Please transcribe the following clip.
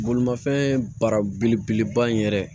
Bolimafɛn baara belebeleba in yɛrɛ